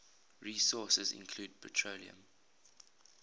resources include petroleum